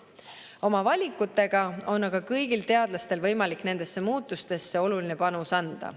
Oma valikutega on aga kõigil teadlastel võimalik nendesse muutustesse oluline panus anda.